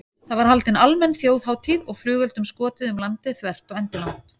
Það var haldin almenn þjóðhátíð og flugeldum skotið um landið þvert og endilangt.